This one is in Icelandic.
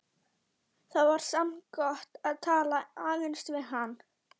Það var samt gott að tala aðeins við hann.